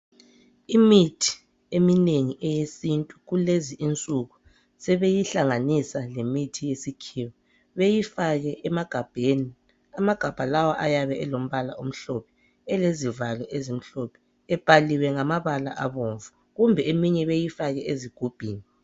Imithi eminengi eyesintu kulezi insuku sebeyihlanganisa lemithi yesikhiwa beyifake emagabheni . Amagabha lawa ayabe elombala omhlophe elezivalo ezimhlophe .Ebhaliwe ngamabala abomvu kumbe eminye beyifake ezigubhini.